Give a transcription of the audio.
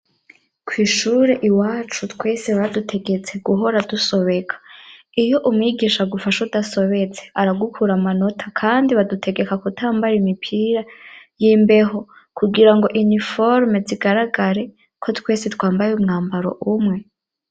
Kw'ishure iwacu twese badutegetse guhora dusobeka iyo umwigisha aguafashe udasobetse aragukura amanota kandi badutegeka kutambara imipira y'imbeho kugira ngo iniforme zigaragare ko twese twambaye umwambaro umwe.